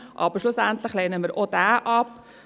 Aber schlussendlich lehnen wir auch diesen ab.